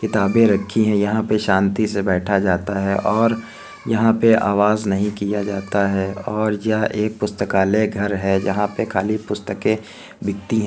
किताबे रखी हैं यहाँ पर शांति से बैठा जाता है और यहाँ पर आवाज नहीं किया जाता है और यह एक पुस्तकालय घर है जहाँ पर खाली पुस्तके बिकती हैं |